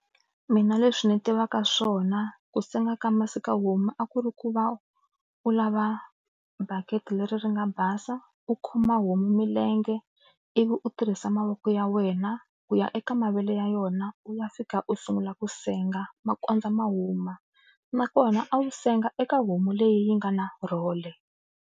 Mina leswi ni tivaka swona ku senga ka masiku homu a ku ri ku va u lava bakiti leri ri nga basa u khoma homu milenge ivi u tirhisa mavoko ya wena ku ya eka mavele ya yona u ya fika u sungula ku senga ma kondza ma huma nakona a wu senga eka homu leyi yi nga na role.